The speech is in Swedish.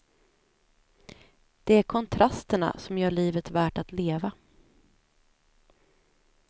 Det är kontrasterna som gör livet värt att leva.